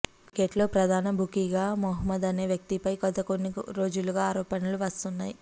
cricket లో ప్రధాన బుకీగా మహ్మమద్ అనే వ్యక్తిపై గతకొన్ని రోజులుగా ఆరోపణలు వస్తున్నాయి